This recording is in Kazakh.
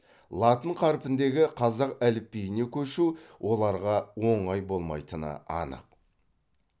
латын қарпіндегі қазақ әліпбиіне көшу оларға оңай болмайтыны анық